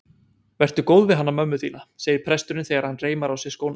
Vertu góð við hana mömmu þína, segir presturinn þegar hann reimar á sig skóna.